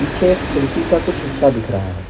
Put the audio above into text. पीछे एक खिड़की का कुछ हिस्सा दिख रहा है।